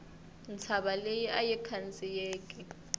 ntshava leyi ayi khandziyeki